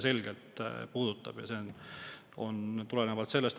See tuleneb sellest.